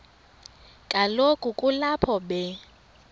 kaloku kulapho be